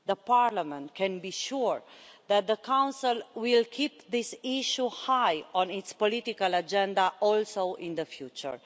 Parliament can be sure that the Council will keep this issue high on its political agenda in the future.